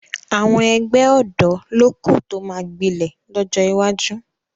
Àwọn ẹgbẹ́ ọ̀dọ́ ló kù tó máa gbilẹ̀ lọ́jọ́ iwájú